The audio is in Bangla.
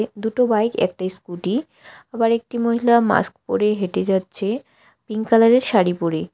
দুটো বাইক একটা স্কুটি আবার একটি মহিলা মাস্ক পরে হেটে যাচ্ছে পিঙ্ক কালার এর শাড়ী পরে।